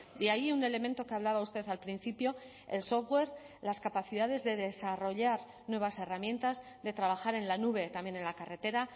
y ahí un elemento que ha hablaba usted al principio el software las capacidades de desarrollar nuevas herramientas de trabajar en la nube también en la carretera